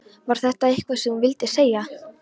Var það eitthvað sem þú vildir segja?